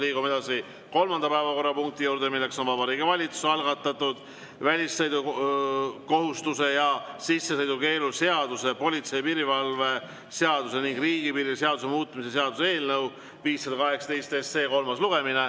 Liigume edasi kolmanda päevakorrapunkti juurde, milleks on Vabariigi Valitsuse algatatud väljasõidukohustuse ja sissesõidukeelu seaduse, politsei ja piirivalve seaduse ning riigipiiri seaduse muutmise seaduse eelnõu 518 kolmas lugemine.